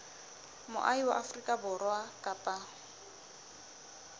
moahi wa afrika borwa kapa